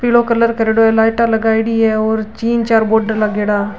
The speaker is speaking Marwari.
पीलो कलर करेड़ा लाइटा लगाई डी और तीन चार बोर्ड लगेड़ा।